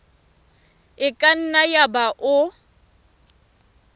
e ka nna yaba o